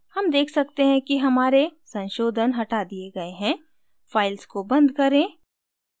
हम देख सकते हैं कि हमारे संशोधन हटा दिए गए हैं files को बंद करें